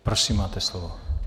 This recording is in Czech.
Prosím, máte slovo.